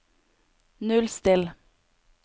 nullstill